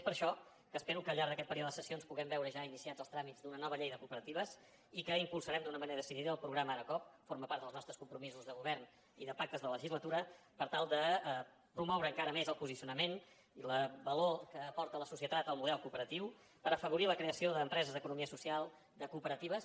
és per això que espero que al llarg d’aquest període de sessions puguem veure ja iniciats els tràmits d’una nova llei de cooperatives i que impulsarem d’una manera decidida el programa ara coop forma part dels nostres compromisos de govern i de pactes de legislatura per tal de promoure encara més el posicionament i el valor que aporta a la societat el model cooperatiu per afavorir la creació d’empreses d’economia social de cooperatives